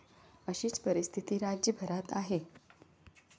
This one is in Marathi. अशीच परिस्थिती राज्यभरात आहे.